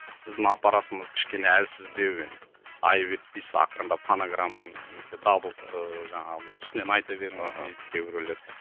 біздің аппаратымыз кішкене әлсіздеу енді айып етпейсіз ақырындап фонограмманы немесе даблды ыыы жаңағы үстінен айта беріңіз дейді дейді кейбіреулер